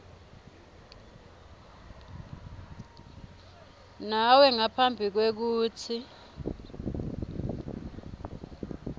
nawe ngaphambi kwekutsi